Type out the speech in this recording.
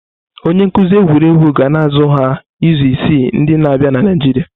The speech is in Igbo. Onye nkuzi egwuregwu ga na-azụ ha izu isii ndi na-abịa na Naịjirịa.